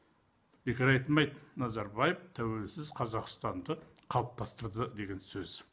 бекер айтылмайды назарбаев тәуелсіз қазақстанды қалыптастырды деген сөз